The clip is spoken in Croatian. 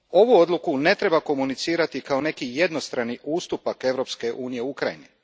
Ovu odluku ne treba komunicirati kao neki jednostrani ustupak Europske unije Ukrajini.